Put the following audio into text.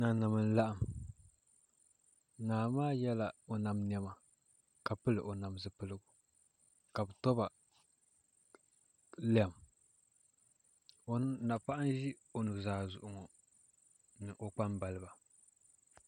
Nanim n laɣam naa maa yɛla o nam niɛma ka pili o nam zipiligu ka bi toba lɛm napaɣa n ʒi o nuzaa zuɣu ŋo ni o kpambaliba